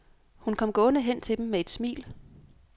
Hun kom gående hen til dem med et smil.